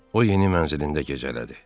O yeni mənzilində gecələdi.